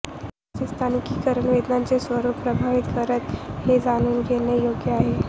रोगाचे स्थानिकीकरण वेदनांचे स्वरूप प्रभावित करते हे जाणून घेणे योग्य आहे